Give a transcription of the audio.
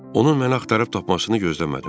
Onun məni axtarıb tapmasını gözləmədim.